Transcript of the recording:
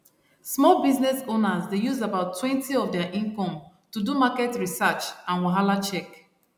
small business owners dey use abouttwentyof their income to do market research and wahalacheck